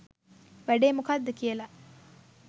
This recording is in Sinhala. වැඩේ මොකද්ද කියලා